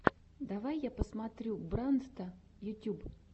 давай я посмотрю брандта ютюб